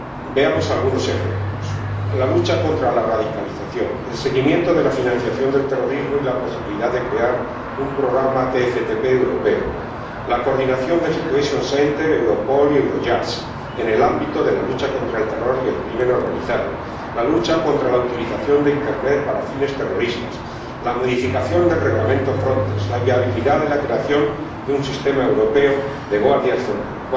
Veamos algunos ejemplos la lucha contra la radicalización, el seguimiento de la financiación del terrorismo y la posibilidad de crear un programa TFTP europeo, la coordinación del SitCen, Europol y Eurojust en el ámbito de la lucha contra el terror y el crimen organizado, la lucha contra la utilización de Internet para fines terroristas, la modificación del Reglamento Frontex, la viabilidad de la creación de un sistema europeo de guardias de frontera.